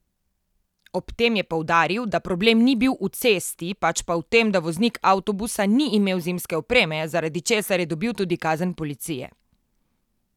Ob tem je poudaril, da problem ni bil v cesti, pač pa v tem, da voznik avtobusa ni imel zimske opreme, zaradi česar je dobil tudi kazen policije.